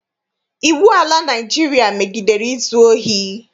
Iwu ala Naịjirịa megidere izu ohi.